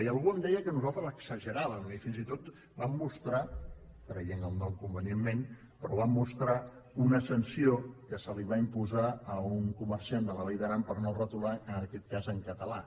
i algú em deia que nosaltres exageràvem i fins i tot vam mostrar traient el nom convenientment però vam mostrar una sanció que se li va imposar a un comerciant de la vall d’aran per no retolar en aquest cas en català